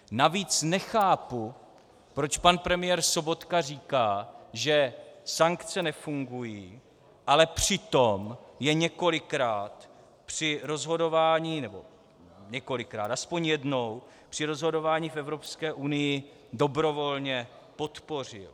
Navíc nechápu, proč pan premiér Sobotka říká, že sankce nefungují, ale přitom je několikrát při rozhodování - nebo několikrát, aspoň jednou, při rozhodování v Evropské unii dobrovolně podpořil.